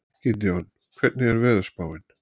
Gídeon, hvernig er veðurspáin?